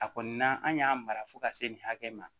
A kɔni na an y'a mara fo ka se nin hakɛ ma